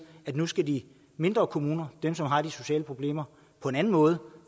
at nu skal de mindre kommuner dem som har de sociale problemer på en anden måde